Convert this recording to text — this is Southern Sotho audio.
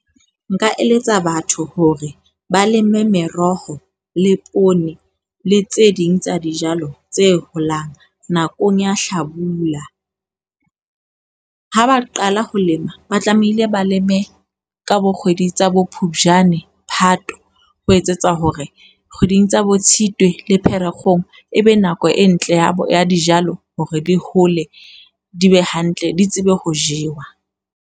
Nka eletsa batho hore ba leme meroho le poone le tse ding tsa dijalo tse holang nakong ya Hlabula. Ha ba qala ho lema, ba tlamehile ba leme ka bokgwedi tsa boPhupjane, Phato. Ho etsetsa hore kgweding tsa boTshitwe le Pherekgong e be nako e ntle ya bo ya dijalo hore di hole di be hantle, di tsebe ho jewa.